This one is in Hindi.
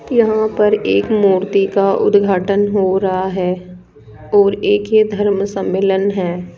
यहां पर एक मूर्ति का उद्घाटन हो रहा है और एक ये धर्म सम्मेलन है।